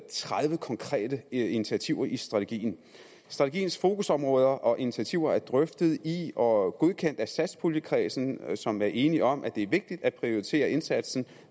tredive konkrete initiativer i strategien strategiens fokusområder og initiativer er drøftet i og godkendt af satspuljekredsen som er enig om at det er vigtigt at prioritere indsatsen